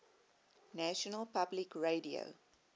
national public radio